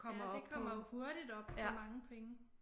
Ja det kommer jo hurtigt op på mange penge